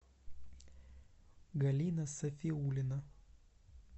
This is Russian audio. галина сафиулина